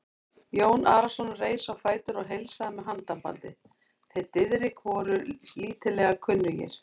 Jón Arason reis á fætur og heilsaði með handabandi, þeir Diðrik voru lítillega kunnugir.